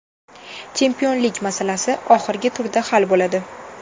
Chempionlik masalasi oxirgi turda hal bo‘ladi.